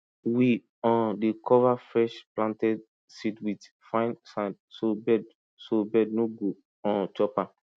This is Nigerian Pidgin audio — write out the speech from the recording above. we um dey cover fresh planted seed with fine sand so bird so bird no go um chop am